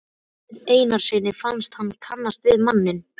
Marteini Einarssyni fannst hann kannast við manninn.